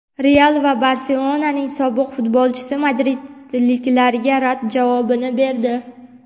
"Real" va "Barselona"ning sobiq futbolchisi madridliklarga rad javobini berdi.